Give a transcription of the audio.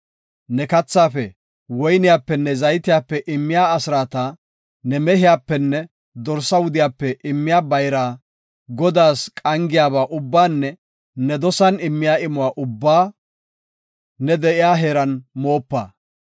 Ne kathaafe, woyniyapenne zaytiyape immiya asraata, ne mehiyapenne dorsa wudiyape immiya bayraa, Godaas qangidaba ubbaanne ne dosan immiya imuwa ubbaa ne de7iya heeran moopa.